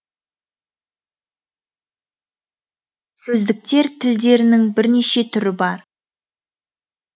сөздіктер тілдерінің бірнеше түрі бар